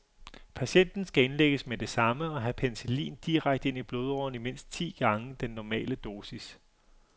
Patienten skal indlægges med det samme og have penicillin direkte ind i blodårerne i mindst ti gange den normale dosis.